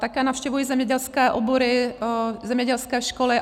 Také navštěvuji zemědělské obory, zemědělské školy.